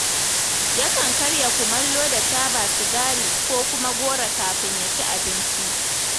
Yakan karya kumallo da taba sigari ko kuma goro kafin ya ci abinci.